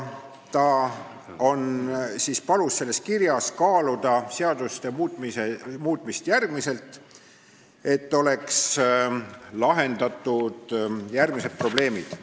Ta palus selles kirjas kaaluda seaduste muutmist, et oleks lahendatud järgmised probleemid.